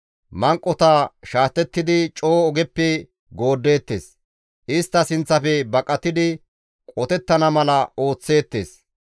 Manqota shaatettidi coo ogeppe gooddeettes; istta sinththafe baqatidi qotettana mala ooththeettes.